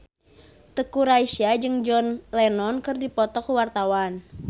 Teuku Rassya jeung John Lennon keur dipoto ku wartawan